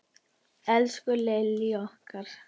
Elsku Lillý okkar.